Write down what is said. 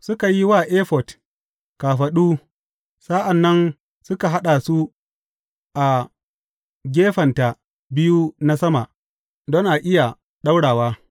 Suka yi wa efod kafaɗu, sa’an nan suka haɗa su a gefenta biyu na sama, don a iya ɗaurawa.